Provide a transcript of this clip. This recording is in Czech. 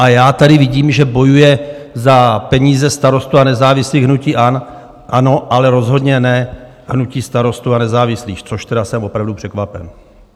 A já tady vidím, že bojuje za peníze starostů a nezávislých hnutí ANO, ale rozhodně ne hnutí Starostů a nezávislých, což tedy jsem opravdu překvapen!